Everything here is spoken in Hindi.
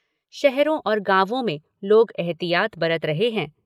शहरों और गांवों में लोग एहतियात बरत रहे हैं।